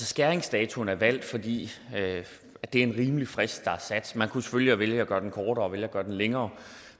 skæringsdatoen er valgt fordi det er en rimelig frist der er sat men kunne selvfølgelig vælge at gøre den kortere eller vælge at gøre den længere